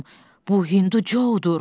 Bu Hindu Co-dur.